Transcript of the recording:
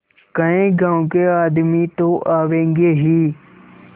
कई गाँव के आदमी तो आवेंगे ही